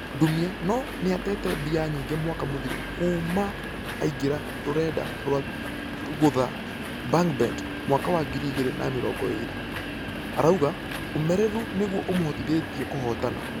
Ndumia nũ nĩatete mbia nyingĩ mwaka mũthiru kuuma aingĩra rũrenda rwa gũutha bangbet mwaka wa ngiri igĩrĩ na mĩrongo ĩrĩ. Arauga ũmereru nĩguo ũmohotithetie kũhotana.